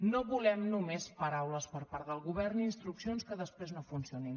no volem només paraules per part del govern instruccions que després no funcionin